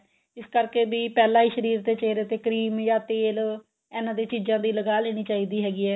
ਇਸ ਕਰਕੇ ਵੀ ਪਹਿਲਾਂ ਹੀ ਸ਼ਰੀਰ ਤੇ ਚਿਹਰੇ ਤੇ cream ਜਾਂ ਤੇਲ ਇਹਨਾ ਦੇ ਚੀਜ਼ਾਂ ਦੀ ਲਗਾ ਲੈਣੀ ਚਾਹੀਦੀ ਹੈਗੀ ਏ